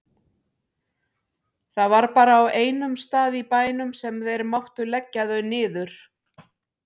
Það var bara á einum stað í bænum sem þeir máttu leggja þau niður.